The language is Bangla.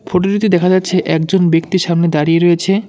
ফোটোটিতে দেখা যাচ্ছে একজন ব্যক্তি সামনে দাঁড়িয়ে রয়েছে।